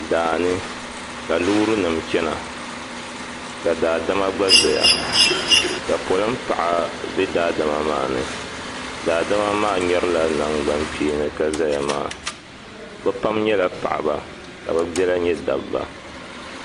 daani ka loori nima chana ka daadama gba zaya ka polin' paɣa be daadama maa ni daadama maa ŋmɛrila nangbuni kpeeni ka zaya maa bɛ pam nyɛla paɣaba ka bɛ biɛla nyɛ dabba.